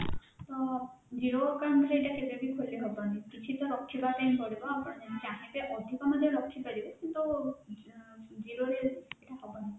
ତ zero account ରେ ଏଇଟା କେବେ ବି ଖୋଲି ହବନି କିଛି ତ ରଖିବା ପାଇଁ ପଡିବ ଆପଣ ଯଦି ଚାହିଁବେ ଅଧିକ ମଧ୍ୟ ରଖିପାରିବେ କିନ୍ତୁ zero ରେ ହବନି